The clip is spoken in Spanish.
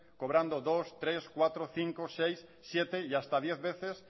cobrando dos tres cuatro cinco seis siete y hasta diez veces